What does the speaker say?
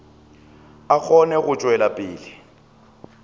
a kgone go tšwela pele